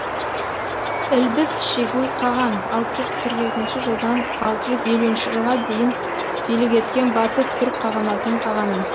ілбіс шегуй қаған алты жүз қырық екінші жылдан алты жүз елуінші жылға дейін билік еткен батыс түрік қағанатының қағаны